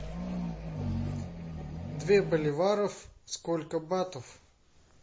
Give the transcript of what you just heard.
две боливаров сколько батов